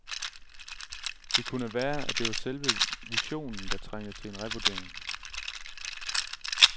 Det kunne være, at det var selve visionen, der trængte til en revurdering.